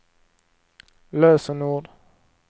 lösenord